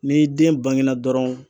Ni den bangena dɔrɔn.